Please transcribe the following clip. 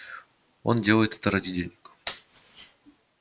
он делает это ради денег